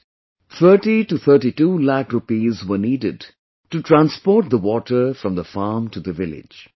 But, 3032 lakh rupees were needed to transport the water from the farm to the village